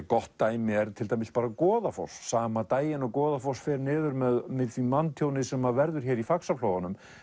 gott dæmi er bara Goðafoss sama daginn og Goðafoss fer niður með því manntjóni sem verður hér í Faxaflóa